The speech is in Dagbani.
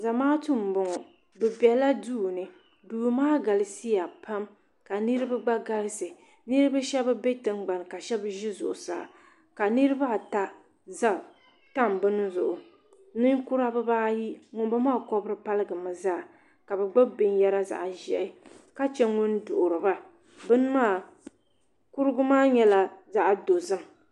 Zamaatu m boŋɔ bɛ bela duuni duu maa galisiya pam ka niriba gba galisi niriba sheba be tingbani ka sheba be zuɣusaa ka niriba ata tam bini zuɣu ninkura bibaayi ŋun boŋɔ maa kobri paligimi zaa ka bɛ gbibi binyera zaɣa ʒehi ka che ŋun duhiri ba kurugu maa nyɛla zaɣa dozim.